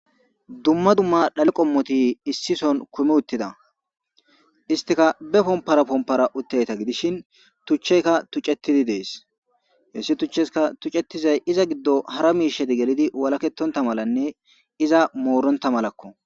Dumma dumma dhaliqommoti issi son kumi uttida istika be pompara pompara utteyta gidishin tuchcheyka tucetidi dees hessi tuchcheska tucetizay iza giddo hara miisheti gelidi walaketonta malanne iza mooronta malakko